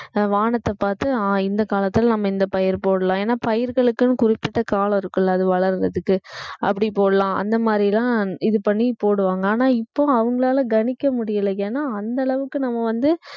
வானத்தைப் பார்த்து அஹ் இந்தக் காலத்துல நம்ம இந்தப் பயிர் போடலாம் ஏன்னா பயிர்களுக்குன்னு குறிப்பிட்ட காலம் இருக்குல்ல அது வளர்றதுக்கு அப்படிப் போடலாம் அந்த மாதிரி எல்லாம் இது பண்ணிப் போடுவாங்க ஆனா இப்போ அவங்களால கணிக்க முடியலை ஏன்னா அந்த அளவுக்கு நம்ம வந்து